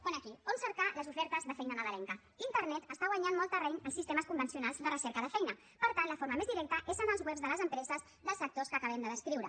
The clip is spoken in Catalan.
pone aquí on cercar les ofertes de feina nadalenca internet està guanyant molt terreny als sistemes convencionals de recerca de feina per tant la forma més directa és en els webs de les empreses dels sectors que acabem de descriure